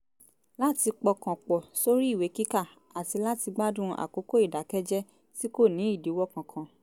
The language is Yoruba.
láti pọkàn pọ̀ sórí ìwé kíkà àti láti gbádùn àkókò ìdàkẹ́jẹ́ tí kò ní ìdíwọ́ kankan